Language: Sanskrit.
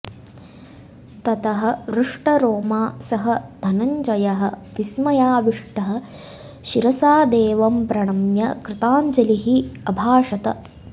ततः हृष्टरोमा सः धनञ्जयः विस्मयाविष्टः शिरसा देवं प्रणम्य कृताञ्जलिः अभाषत